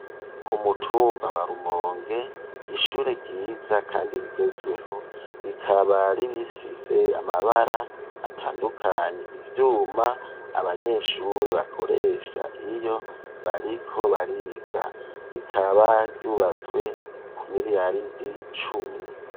Ku mutumba wa rumonge ishure ryiza kandi rigezweho rikaba ririfise amabara atandukanye, ivyuma abanyeshure bakoresha iyo bariko bariga rikaba ryubatswe ku miriyaridi cumi.